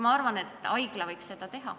Ma arvan siiski, et haigla võiks seda teha.